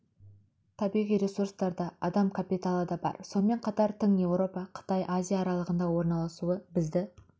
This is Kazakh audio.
табиғи ресурстар да адам капиталы да бар сонымен қатар тыңеуропа қытай азия аралығында орналасуы бізді